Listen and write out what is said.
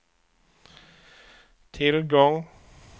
tillgång